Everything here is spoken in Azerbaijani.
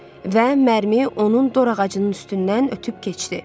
Və mərmi onun dor ağacının üstündən ötüb keçdi.